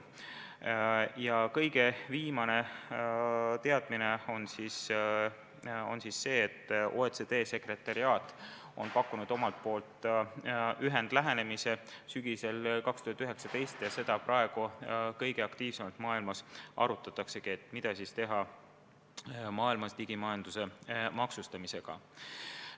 Ja kõige viimane teadmine on see, et OECD sekretariaat on pakkunud omalt poolt sügisel 2019 ühendlähenemise ja praegu kõige aktiivsemalt maailmas arutataksegi, mida siis teha digimajanduse maksustamisega.